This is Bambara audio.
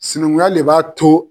Sinankunya le b'a to.